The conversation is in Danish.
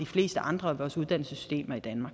fleste andre uddannelser